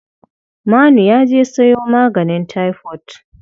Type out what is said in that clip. Manu ya je sayo maganin taifot.